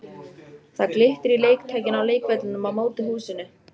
Það glittir í leiktækin á leikvellinum á móti húsinu.